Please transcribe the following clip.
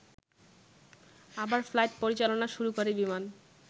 আবার ফ্লাইট পরিচালনা শুরু করে বিমান